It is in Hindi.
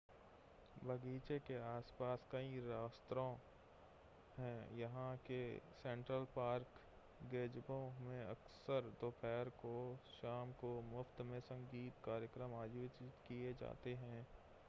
बगीचे के आस-पास कई रेस्तरां हैं यहां के सेंट्रल पार्क गेज़बो में अक्सर दोपहर और शाम को मुफ़्त में संगीत के कार्यक्रम आयोजित किए जाते हैं